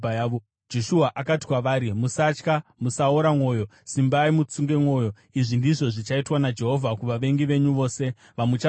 Joshua akati kwavari, “Musatya; musaora mwoyo. Simbai mutsunge mwoyo. Izvi ndizvo zvichaitwa naJehovha kuvavengi venyu vose vamucharwa navo.”